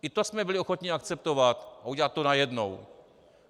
I to jsme byli ochotni akceptovat a udělat to najednou.